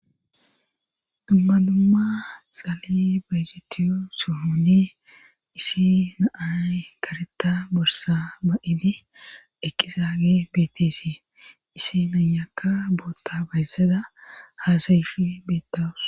dumma dumma xaali beezetiyo sohone issi naay kareta borsa ba7idi eqizaage beetesi issi nayakka bootta bayssada haasayishi beettaus